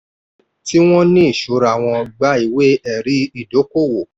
tí wọ́n ní ìṣura wọ́n gba ìwé-ẹ̀rí ìdókòwò.